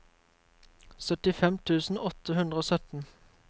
syttifem tusen åtte hundre og sytten